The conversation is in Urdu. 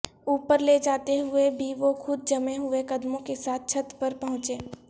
اوپر لے جاتے ہوئے بھی وہ خود جمے ہوئے قدموں کے ساتھ چھت پر پہنچے